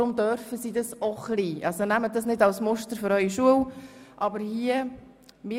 Deshalb dürfen sie auch ein wenig zusammen sprechen und herumlaufen.